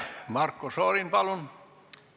Marko Šorin, palun!